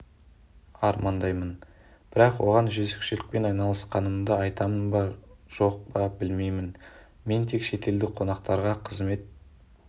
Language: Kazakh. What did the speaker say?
армандаймын бірақ оған жөзекшелікпен айналысқанымды айтамын ба жоқ па білмеймін мен тек шетелдік қонақтарға қызмет